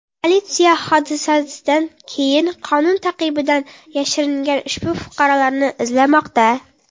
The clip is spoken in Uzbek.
Politsiya hodisadan keyin qonun ta’qibidan yashiringan ushbu fuqarolarni izlamoqda.